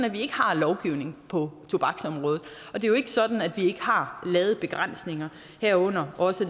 at vi ikke har lovgivning på tobaksområdet og det er jo ikke sådan at vi har lavet begrænsninger herunder også